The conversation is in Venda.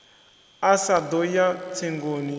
a sa ḓo ya tsengoni